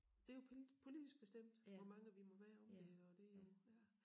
Det jo politisk bestemt hvor mange vi må være om det og det jo ja